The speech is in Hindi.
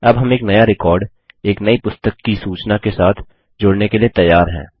अब हम एक नया रिकॉर्ड एक नई पुस्तक कि सूचना के साथ जोड़ने के लिए तैयार हैं